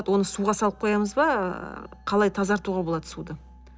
оны суға салып қоямыз ба ыыы қалай тазартуға болады суды